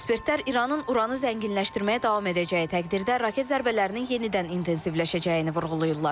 Ekspertlər İranın uranı zənginləşdirməyə davam edəcəyi təqdirdə raket zərbələrinin yenidən intensivləşəcəyini vurğulayırlar.